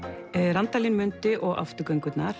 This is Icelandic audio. Randalín mundi og